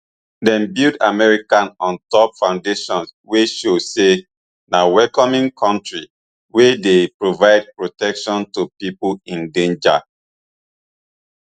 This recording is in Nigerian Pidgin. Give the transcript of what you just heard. dem build america on top foundation wey show say na welcoming kontri wey dey provide protection to pipo in danger